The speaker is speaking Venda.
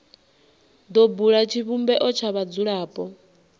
do bula tshivhumbeo tsha vhadzulapo